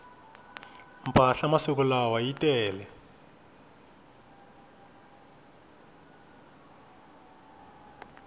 mpahla masiku lawa yi tele